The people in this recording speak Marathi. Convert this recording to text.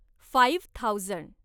five thousand